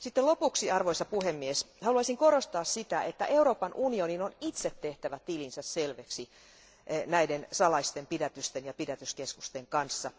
Lopuksi haluaisin korostaa sitä, että Euroopan unionin on itse tehtävä tilinsä selviksi näiden salaisten pidätysten ja pidätyskeskusten kanssa.